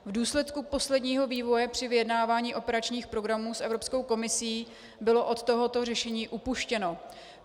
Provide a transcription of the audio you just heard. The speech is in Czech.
V důsledku posledního vývoje při vyjednávání operačních programů s Evropskou komisí bylo od tohoto řešení upuštěno.